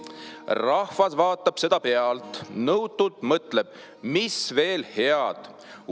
Rahvas vaatab seda pealt, nõutult mõtleb: "Mis veel head?